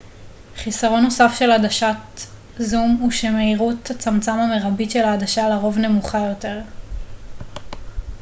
חיסרון נוסף של עדשות זום הוא שמהירות הצמצם המרבית של העדשה לרוב נמוכה יותר